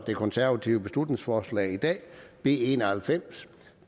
det konservative beslutningsforslag b en og halvfems